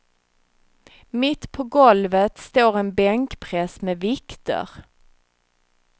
Mitt på golvet står en bänkpress med vikter.